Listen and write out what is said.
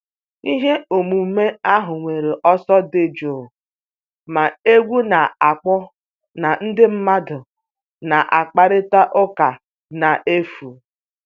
Ihe omume ahụ nwere ọsọ dị jụụ, ma egwu na-akpọ na ndị mmadụ na-akparịta ụka n'efu.